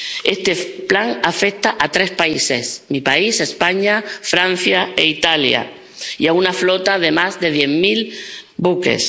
Este plan afecta a tres países —mi país, España, Francia e Italia— y a una flota de más de diez mil buques.